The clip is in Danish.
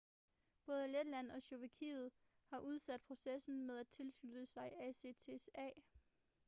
både letland og slovakiet har udsat processen med at tilslutte sig acta